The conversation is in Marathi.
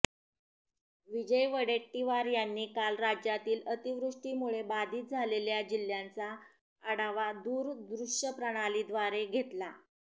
विजय वडेट्टीवार यांनी काल राज्यातील अतिवृष्टीमुळे बाधीत झालेल्या जिल्ह्यांचा आढावा दूरदृश्यप्रणालीव्दारे घेतला